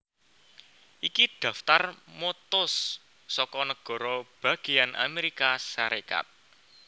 Iki Daftar mottos saka nagara bagéyan Amérika Sarékat